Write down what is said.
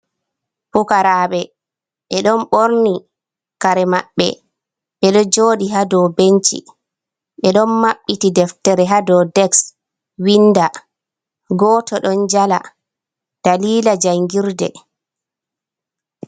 Pukaraɓe, be don ɓorni kare maɓɓe. Ɓe ɗo jooɗi ha dou benci. Ɓe ɗon maɓɓiti deftere ha dou deks winda. Goto ɗon jala, dalila jangirde.